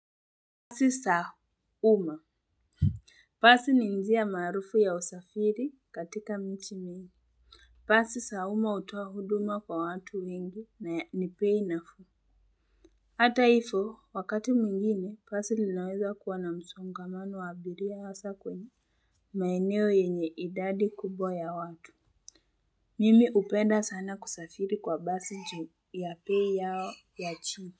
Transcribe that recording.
Pasi sa uma. Pasi ni njia maarufu ya usafiri katika michi mimi. Pasi sa uma utoa huduma kwa watu wengi na ni pei nafuu. Hata ifo, wakati mwingine, pasi linaweza kuwa na msongamano wa abiria hasa kwenye. Maeneyo yenye idadi kubwa ya watu. Mimi upenda sana kusafiri kwa basi ju ya pei yao ya chini.